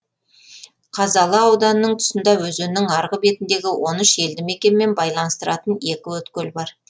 қазалы ауданының тұсында өзеннің арғы бетіндегі он үш елді мекенмен байланыстыратын екі өткел бар